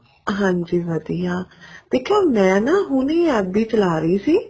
ਹਾਂਜੀ ਵਧੀਆ ਦੇਖਿਉ ਮੈਂ ਨਾ ਹੁਣੇ ਹੀ FB ਚਲਾ ਰਹੀ ਸੀ